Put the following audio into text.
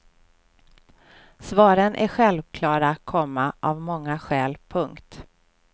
Svaren är självklara, komma av många skäl. punkt